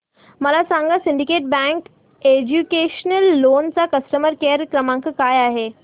मला सांगा syndicate bank educational loan चा कस्टमर केअर क्रमांक काय आहे